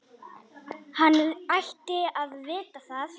Hann ætti að vita það.